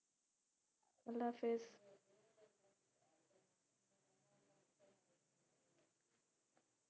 আল্লাহ হাফিজ